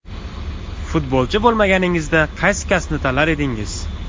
Futbolchi bo‘lmaganingizda qaysi kasbni tanlar edingiz.